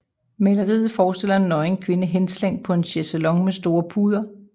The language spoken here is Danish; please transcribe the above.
Maleriet forestiller en nøgen kvinde henslængt på en chaiselong med store puder